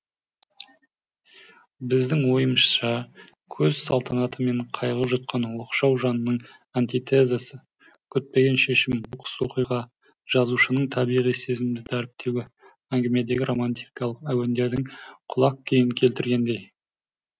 біздің ойымызша көш салтанаты мен қайғы жұтқан оқшау жанның антитезасы күтпеген шешім оқыс оқиға жазушының табиғи сезімді дәріптеуі әңгімедегі романтикалық әуендердің құлақ күйін келтіргендей